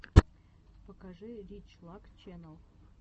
покажи рич лак ченнал